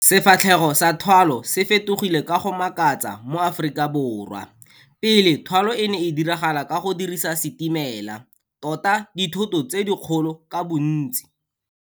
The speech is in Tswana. Sefatlhego sa thwalo se fetogile ka go makatsa mo Afrikaborwa. Pele, thwalo e ne e diragala ka go dirisa setimela, tota dithoto tse dikgolo ka bontsi.